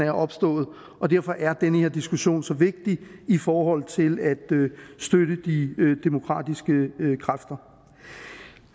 er opstået og derfor er den her diskussion så vigtig i forhold til at støtte de demokratiske kræfter